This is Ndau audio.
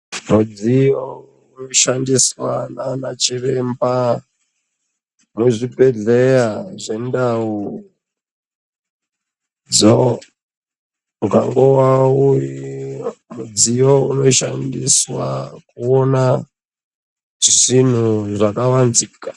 Mudziyo unoshandiswa nanaChiremba muzvibhedhleya zvendau dzo ungangowe mudziyo unoshandiswa kuona zinhu rakavanzika.